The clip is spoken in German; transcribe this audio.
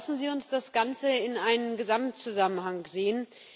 Aber lassen Sie uns das Ganze in einem Gesamtzusammenhang sehen!